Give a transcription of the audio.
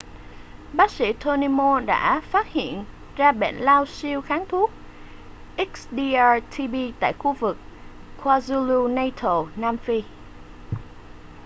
bác sĩ tony moll đã phát hiện ra bệnh lao siêu kháng thuốc xdr-tb tại khu vực kwazulu-natal nam phi